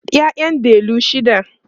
ƴaƴan delu shida